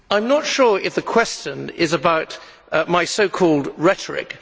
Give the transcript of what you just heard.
I am not sure if the question is about my so called rhetoric.